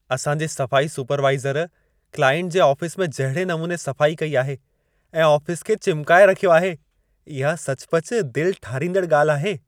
असां जे सफ़ाई सुपरवाइज़र क्लाइंट जे आफ़िस में जहिड़े नमूने सफ़ाई कई आहे ऐं आफ़िस खे चिमिकाए रखियो आहे, इहा सचुपचु दिल ठारींदड़ ॻाल्हि आहे।